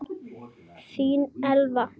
Þín Eva